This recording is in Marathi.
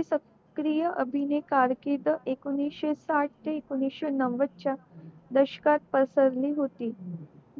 सत्क्रिय अभिनय कारकीर्द एकोणीशे साठ ते एकोणीशे नवद च्या दशकात पसरली होती